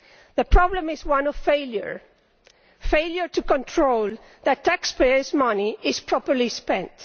The problem is one of failure failure to control that the taxpayers' money is properly spent.